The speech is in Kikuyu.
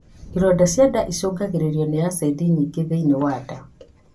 Ironda cia nda icũngagĩrĩrio nĩ acidi nyingĩ thĩiniĩ wa nda